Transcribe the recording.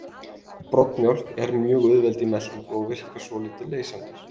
Broddmjólk er mjög auðveld í meltingu og virkar svolítið leysandi.